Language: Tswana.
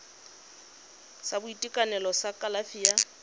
sa boitekanelo sa kalafi ya